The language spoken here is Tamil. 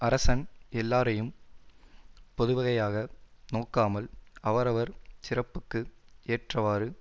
அரசன் எல்லாரையும் பொதுவகையாக நோக்காமல் அவரவர் சிறப்புக்கு ஏற்றவாறு